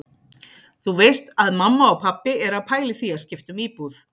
Þú veist að mamma og pabbi eru að pæla í því að skipta um íbúð.